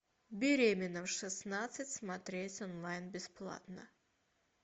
беременна в шестнадцать смотреть онлайн бесплатно